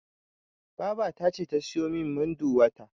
Babata ce ta siyo min Munduwa ta.